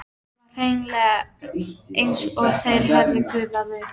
Það var hreinlega eins og þeir hefðu gufað upp.